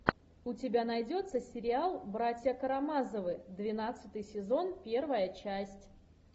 у тебя найдется сериал братья карамазовы двенадцатый сезон первая часть